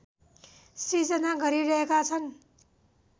सृजना गरिरहेका छन्